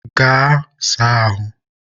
Gaa saa ahụ!